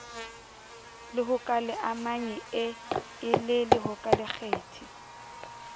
lehokaleamanyi e e le lehokalekgethi